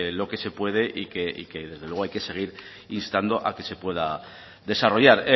lo que se puede y que desde luego hay que seguir instando a que se pueda desarrollar